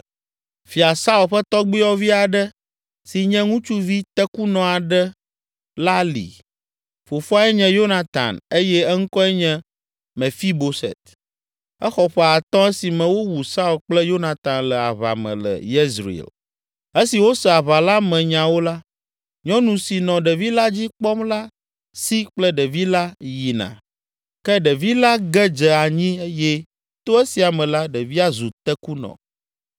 Fia Saul ƒe tɔgbuiyɔvi aɖe si nye ŋutsuvi tekunɔ aɖe la li; fofoae nye Yonatan eye eŋkɔe nye Mefiboset. Exɔ ƒe atɔ̃ esime wowu Saul kple Yonatan le aʋa me le Yezreel. Esi wose aʋa la me nyawo la, nyɔnu si nɔ ɖevi la dzi kpɔm la si kple ɖevi la yina. Ke ɖevi la ge dze anyi eye to esia me la ɖevia zu tekunɔ.